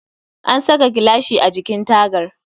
An saka gilashi a jikin tagar